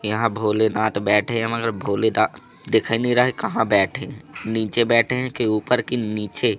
यहां भोलेनाथ बैठे हैं मगर भोले दा दिखी नहीं रहा है कहां बैठे हैं नीचे बैठे हैं के ऊपर की नीचे--